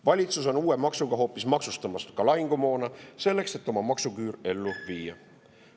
Valitsus on uue maksuga maksustamas ka lahingumoona, selleks et oma maksuküür ellu viia.